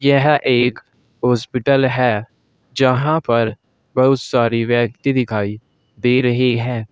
यह एक हॉस्पिटल है जहाँ पर बहुत सारी व्यक्ति दिखाई दे रही हैं।